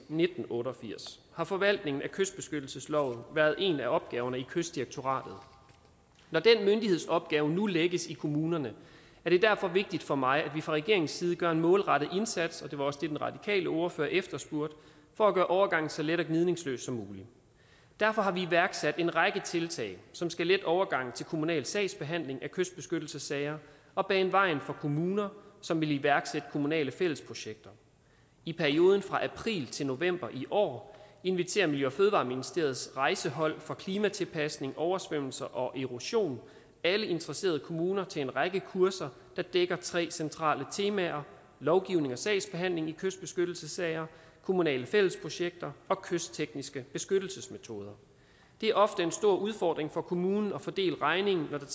nitten otte og firs har forvaltningen af kystbeskyttelsesloven været en af opgaverne i kystdirektoratet når den myndighedsopgave nu lægges i kommunerne er det derfor vigtigt for mig at vi fra regeringens side gør en målrettet indsats det var også det den radikale ordfører efterspurgte for at gøre overgangen så let og gnidningsløs som muligt derfor har vi iværksat en række tiltag som skal lette overgangen til kommunal sagsbehandling af kystbeskyttelsessager og bane vejen for kommuner som vil iværksætte kommunale fællesprojekter i perioden fra april til november i år inviterer miljø og fødevareministeriets rejsehold for klimatiltilpasning oversvømmelser og erosion alle interesserede kommuner til en række kurser der dækker tre centrale temaer lovgivning og sagsbehandling i kystbeskyttelsessager kommunale fællesprojekter og kysttekniske beskyttelsesmetoder det er ofte en stor udfordring for kommunen at fordele regningen når der